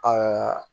Ɛɛ